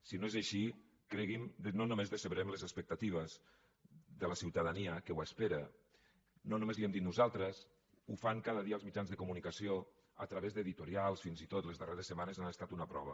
si no és així cregui’m no només decebrem les expectatives de la ciutadania que ho espera no només li ho hem dit nosaltres ho fan cada dia els mitjans de comunicació a través d’editorials fins i tot les darreres setmanes han estat una prova